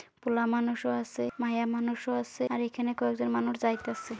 পোলামানুষ ও আসে মাইয়া মানুষ ও আসে আর এখানে কয়েকজন মানুষ যাইতাসে।